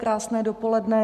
Krásné dopoledne.